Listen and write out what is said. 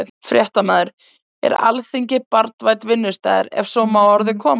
Fréttamaður: Er Alþingi barnvænn vinnustaður, ef svo má að orði komast?